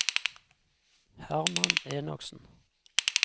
Herman Enoksen